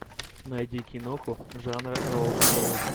найди киноху жанра роад муви